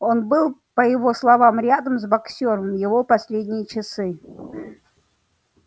он был по его словам рядом с боксёром в его последние часы